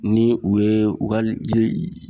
Ni u ye u ka ji